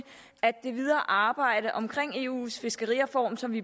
det videre arbejde om eus fiskerireform som vi